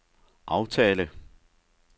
aftale